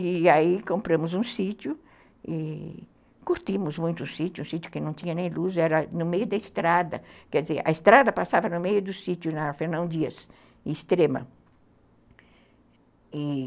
E aí compramos um sítio e curtimos muito o sítio, um sítio que não tinha nem luz, era no meio da estrada, quer dizer, a estrada passava no meio do sítio na Fernão Dias, extrema.